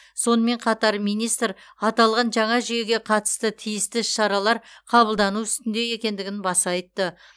сонымен қатар министр аталған жаңа жүйеге қатысты тиісті іс шаралар қабылдану үстінде екендігін баса айтты